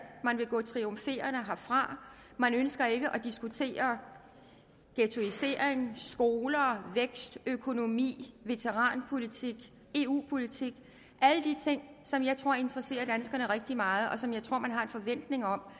man vil gå triumferende herfra man ønsker ikke at diskutere ghettoisering skoler vækstøkonomi veteranpolitik eu politik alle de ting som jeg tror interesserer danskerne rigtig meget og som jeg tror man har en forventning om